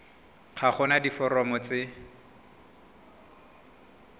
ga go na diforomo tse